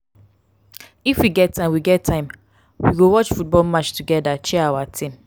if we get time we get time we go watch football match togeda cheer our team.